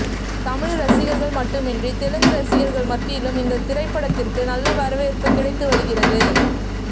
தமிழ் ரசிகர்கள் மட்டும் இன்றி தெலுங்கு ரசிகர்கள் மத்தியிலும் இந்த திரைப்படத்திற்கு நல்ல வரவேற்ப்பு கிடைத்து வருகிறது